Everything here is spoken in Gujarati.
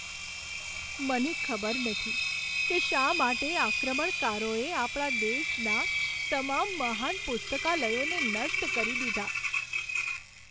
મને ખબર નથી કે શા માટે આક્રમણકારોએ આપણા દેશના તમામ મહાન પુસ્તકાલયોને નષ્ટ કરી દીધાં.